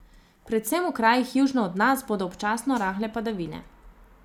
Predvsem v krajih južno od nas bodo občasno rahle padavine.